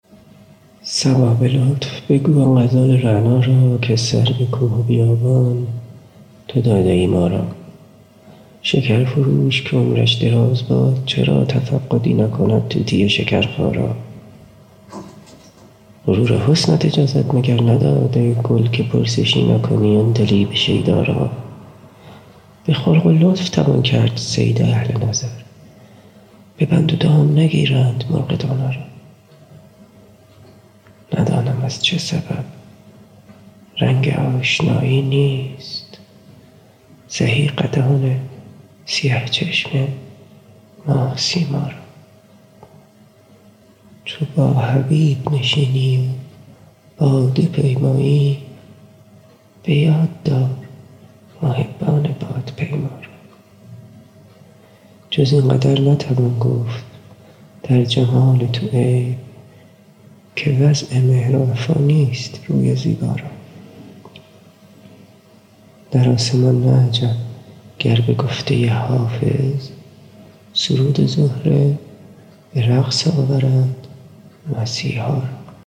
صبا به لطف بگو آن غزال رعنا را که سر به کوه و بیابان تو داده ای ما را شکر فروش که عمرش دراز باد چرا تفقدی نکند طوطی شکرخا را غرور حسنت اجازت مگر نداد ای گل که پرسشی نکنی عندلیب شیدا را به خلق و لطف توان کرد صید اهل نظر به بند و دام نگیرند مرغ دانا را ندانم از چه سبب رنگ آشنایی نیست سهی قدان سیه چشم ماه سیما را چو با حبیب نشینی و باده پیمایی به یاد دار محبان بادپیما را جز این قدر نتوان گفت در جمال تو عیب که وضع مهر و وفا نیست روی زیبا را در آسمان نه عجب گر به گفته حافظ سرود زهره به رقص آورد مسیحا را